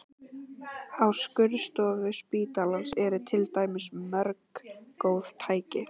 Á skurðstofu spítalans eru til dæmis mörg góð tæki.